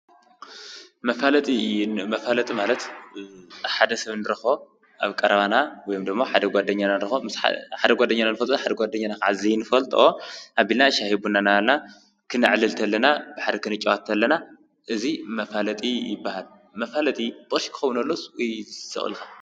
መፋለጢ፡-መፋለጢ ማለት ሓደ ሰብ ንረኽቦ ኣብ ቀረባና ወይም ዶሞ ሓደ ጓደኛና ንፈልጦ ሓደ ጓደኛና ኸዓ ዘይንፈልጦኦ ኣቢልና ሻሂ፣ ቡና ናበልና ኽንዕልል ተለና ብሓደ ክንጫወት ተለና እዙይ መፋለጢ ይበሃል፡፡ መፋለጢ ብቕርሺ ክኸውን ዶለዎስ ስቕ ኢልካ?